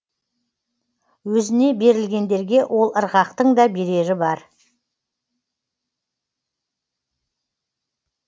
өзіне берілгендерге ол ырғақтың да берері бар